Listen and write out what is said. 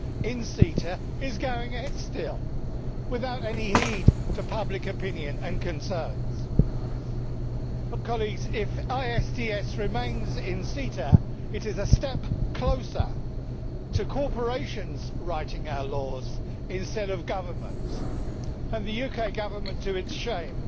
in CETA is still going ahead without any heed for public opinion and concerns. If ISDS remains in CETA it is a step closer to corporations writing our laws instead of governments, and the UK Government, to its shame,